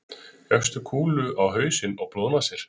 fékkstu kúlu á hausinn og blóðnasir